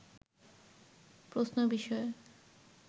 প্রশ্ন বিষয়ে